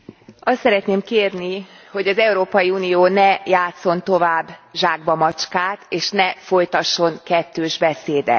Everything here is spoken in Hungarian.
Azt szeretném kérni, hogy az Európai Unió ne játsszon tovább zsákbamacskát és ne folytasson kettős beszédet!